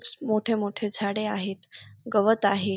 मोठे मोठे झाडे आहेत गवत आहे.